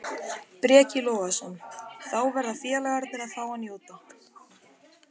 Breki Logason: Þá verða félagarnir að fá að njóta?